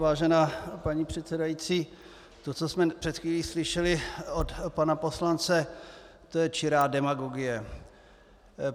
Vážená paní předsedající, to, co jsme před chvílí slyšeli od pana poslance, to je čirá demagogie.